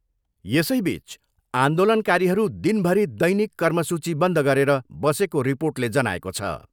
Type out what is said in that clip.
यसैबिच आन्दोलनकारीहरू दिनभरि दैनिक कर्मसूची बन्द गरेर बसेको रिर्पोटले जनाएको छ।